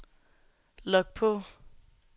log på